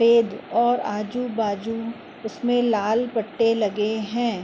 Fade और आजु बाजू उसमे लाल पटे लगे है।